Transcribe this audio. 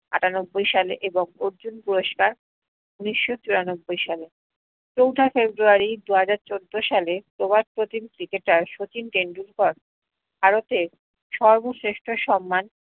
আটানব্বই সালে এবং অর্জুন পুরস্কার উনিশ্য চুরানব্বই সালে চৌথা ফেব্রুয়ারি দুই হাজার চোদ্দ সালে প্রভাস প্রচিন cricket শচীন টেন্ডুলকার ভারতের সর্বশ্রেষ্ঠ সন্মান